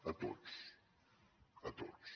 a tots a tots